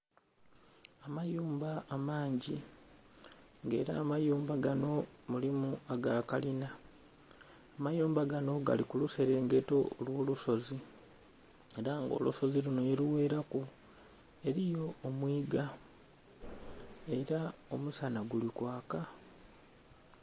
Amayumba amangi nga era amayumba ganho mulimu aga kalina, amayumba ganho gali mu luserengeto olwo lusozi era nga olusozi lumho ghe lugheraku eriyo omwiga era omusanha guli kwaaka.